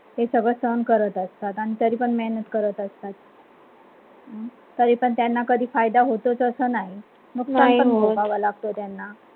ते सगड सहन करत असतात आणि तरी पण मेहनत करत असतात तरी पण त्यांना कधी फायदा होतोच असं नाही मग त्यांना. बागहोव लागते त्यांना